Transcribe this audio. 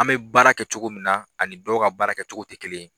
An bɛ baara kɛ cogo min na ani dɔw ka baara kɛcogo tɛ kelen ye.